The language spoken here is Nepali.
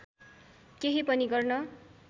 केही पनि गर्न